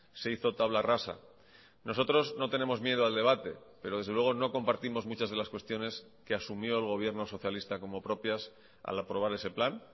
se hizo tabla rasa nosotros no tenemos miedo al debate pero desde luego no compartimos muchas de las cuestiones que asumió el gobierno socialista como propias al aprobar ese plan